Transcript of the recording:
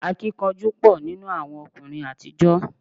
Akíkanjú pọ̀ nínú àwọn ọkùnrin àtijọ́